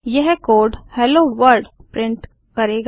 यह code hello world print करेगा